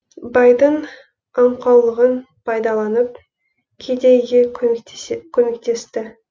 байдың аңқаулығын пайдаланып кедейге көмектесті